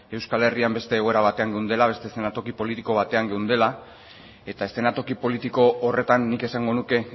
euskal herrian beste egoera batean geundela beste eszenatoki politiko batean geundela eta eszenatoki politiko horretan nik esango nuke